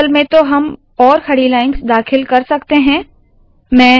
as में तो हम और खड़ी lines दाखिल कर सकते है